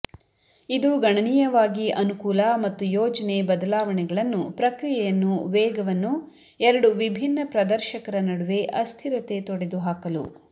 ಇದು ಗಣನೀಯವಾಗಿ ಅನುಕೂಲ ಮತ್ತು ಯೋಜನೆ ಬದಲಾವಣೆಗಳನ್ನು ಪ್ರಕ್ರಿಯೆಯನ್ನು ವೇಗವನ್ನು ಎರಡು ವಿಭಿನ್ನ ಪ್ರದರ್ಶಕರ ನಡುವೆ ಅಸ್ಥಿರತೆ ತೊಡೆದುಹಾಕಲು